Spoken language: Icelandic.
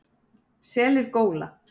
Selir góla.